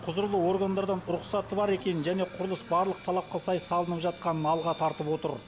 құзырлы органдардан рұқсаты бар екенін және құрылыс барлық талапқа сай салынып жатқанын алға тартып отыр